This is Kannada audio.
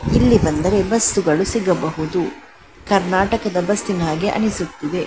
ಇಲ್ಲಿ ಬಂದರೆ ಬಸ್ಸುಗಳು ಸಿಗಬಹುದು ಕರ್ನಾಟಕದ ಬಸ್ಸಿನ ಹಾಗೆ ಅನಿಸುತ್ತಿದೆ .